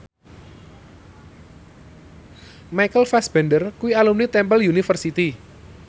Michael Fassbender kuwi alumni Temple University